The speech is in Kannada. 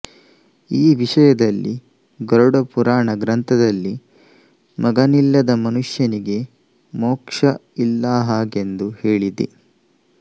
ಈ ವಿಷಯದಲ್ಲಿ ಗರುಡಪುರಾಣ ಗ್ರಂಥದಲ್ಲಿ ಮಗನಿಲ್ಲದ ಮನುಷ್ಯನಿಗೆ ಮೋಕ್ಷ ಇಲ್ಲಾ ಹಾಗೆಂದು ಹೇಳಿದೆ